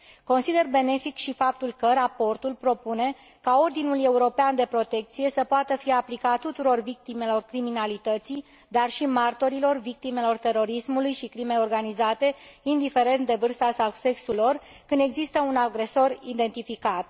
Consider benefic și faptul că raportul propune ca ordinul european de protecție să poată fi aplicat tuturor victimelor criminalității, dar și martorilor, victimelor terorismului și crimei organizate, indiferent de vârsta sau sexul lor, când există un agresor identificat.